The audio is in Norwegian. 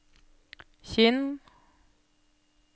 Kinn